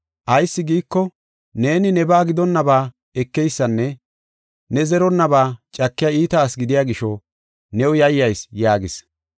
Ayis giiko, neeni nebaa gidonnaba ekeysanne ne zeronnaba cakiya iita asi gidiya gisho new yayyas’ yaagis.